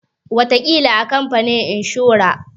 Wataƙila a kamfanin inshora.